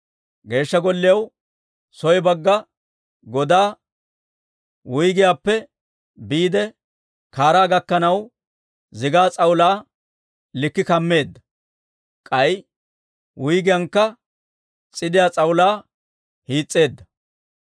Geeshsha Golliyaw soo bagga godaa, wuyggiyaappe biide kaaraa gakkanaw zigaa s'awulaa lik'i kammeedda; k'ay wuyggiyaankka s'idiyaa s'awulaa hiis's'eedda.